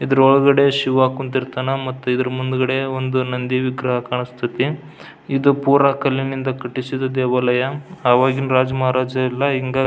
ಇದ್ರ ಒಳಗಡೆ ಶಿವ ಕುಂತಿರ್ತಾನಾ ಮತ್ತೆ ಇದರ ಮುಂದೆ ಒಂದು ನಂದಿ ವಿಗ್ರಹ ಕಾಣಿಸತೈತಿ. ಇದು ಪುರ ಕಲ್ಲಿನಿಂದ ಕಟ್ಟಿಸಿದ ದೇವಾಲಯ. ಆವಾಗಿನ ರಾಜ ಮಹಾರಾಜರೆಲ್ಲ ಹಿಂಗ --